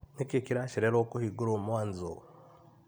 Nĩkĩĩ kĩracererwo kũhingũrwo Mwanzũ?